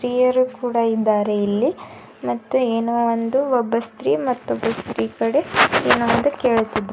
ಸ್ತ್ರೀಯರು ಕೂಡ ಇದ್ದಾರೆ ಇಲ್ಲಿ ಮತ್ತು ಏನೋ ಒಂದು ಒಬ್ಬ ಸ್ತ್ರೀ ಮತ್ತೊಬ್ಬ ಸ್ತ್ರೀ ಕಡೆ ಏನೊ ಒಂದು ಕೇಳುತ್ತಿದ್ದಾ--